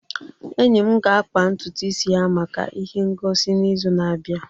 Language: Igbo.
enyi m ga-akpa ntutu isi ya maka ihe ngosi n'izu na-abịa